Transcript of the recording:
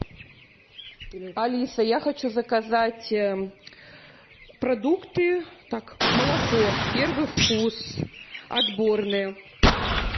алиса я хочу заказать продукты так молоко первый вкус отборное